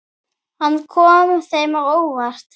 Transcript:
Hann kom þeim á óvart.